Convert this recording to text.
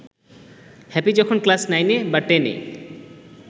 happy যখন class নাইনে বা টেন-এ